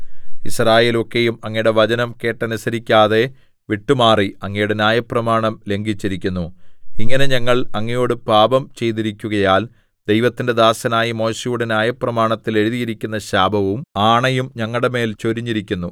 യിസ്രായേലൊക്കെയും അങ്ങയുടെ വചനം കേട്ടനുസരിക്കാതെ വിട്ടുമാറി അങ്ങയുടെ ന്യായപ്രമാണം ലംഘിച്ചിരിക്കുന്നു ഇങ്ങനെ ഞങ്ങൾ അങ്ങയോട് പാപം ചെയ്തിരിക്കുകയാൽ ദൈവത്തിന്റെ ദാസനായ മോശെയുടെ ന്യായപ്രമാണത്തിൽ എഴുതിയിരിക്കുന്ന ശാപവും ആണയും ഞങ്ങളുടെമേൽ ചൊരിഞ്ഞിരിക്കുന്നു